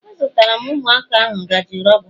Azụtara m Ụmụaka ahu ngaji rọba